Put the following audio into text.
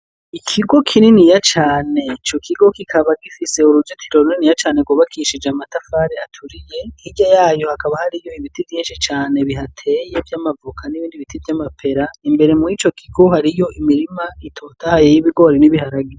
Ikigo kininiya cane ico kigo kikaba gifise uruzitiro runiniya cane rwubakishije amatafari aturiye hirya yayo hakaba hariyo ibiti vyinshi cane bihateye vy'amavoka nibindi biti vy'amapera imbere murico kigo hariyo imirima itotahaye y'ibigori n'ibiharage.